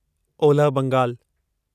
ओलह बंगाल